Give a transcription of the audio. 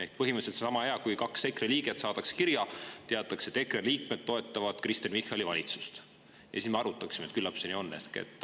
Ehk põhimõtteliselt see on sama hea, kui kaks EKRE liiget saadaks kirja, milles teataks, et EKRE liikmed toetavad Kristen Michali valitsust, ja siis me arutaksime, et küllap see nii on.